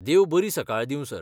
देव बरी सकाळ दिवं सर.